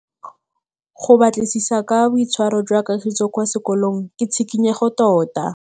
Go batlisisa ka boitshwaro jwa Kagiso kwa sekolong ke tshikinyêgô tota.